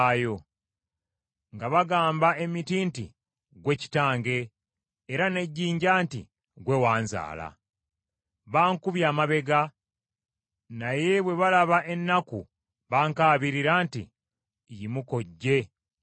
nga bagamba emiti nti, “Ggwe kitange,” era n’ejjinja nti, “Ggwe wanzaala.” Bankubye amabega, naye bwe balaba ennaku bankaabirira nti, “Yimuka ojje otulokole.”